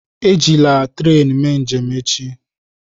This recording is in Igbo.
Ejila tren mee njem echi!